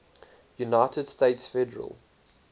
united states federal